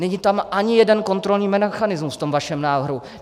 Není tam ani jeden kontrolní mechanismus v tom vašem návrhu.